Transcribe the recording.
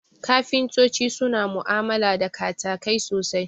Kafintoti suna mu'amala da katakai sosai